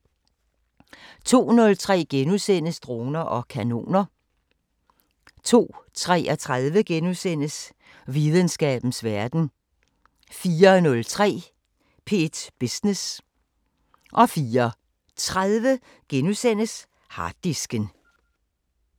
02:03: Droner og kanoner * 02:33: Videnskabens Verden * 04:03: P1 Business * 04:30: Harddisken *